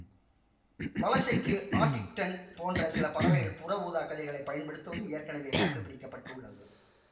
வலசைக்கு Arctic tern போன்ற சில பறவைகள் புற ஊதாக் கதிர்களை பயன்படுத்துவதும் ஏற்கனவே கண்டுபிடிக்க பட்டுள்ளது